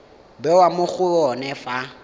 bewa mo go yone fa